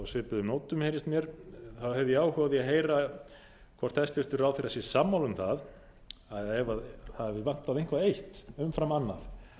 svipuðum nótum heyrist mér hef ég áhuga á því að heyra hvort hæstvirtur ráðherra sé sammála um það að ef það hafi vantað eitthvað eitt umfram annað